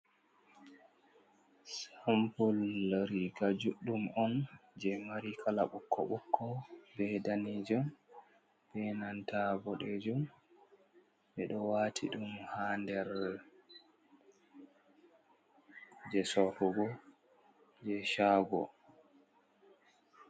Sampol riga juɗɗum on je mari kala ɓukko-ɓokko, be danejum, be nantaa ɓodejum, be ɗo wati dum ha nder je sotugo je chago.